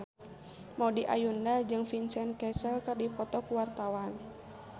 Maudy Ayunda jeung Vincent Cassel keur dipoto ku wartawan